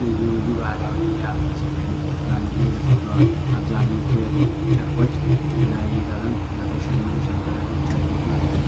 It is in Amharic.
ልዩ ልዩ ባህላዊ የአልባሳት አይነቶች በአንድ ላይ ተሰቅለዋል። አብዛኞቹ የጥጥ ጨርቆች በተለያየ ቀለም በተሸመኑ ሰንጠረዦች ያጌጡ ናቸው።